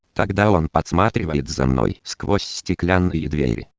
тогда он подсматривает за мной сквозь стеклянные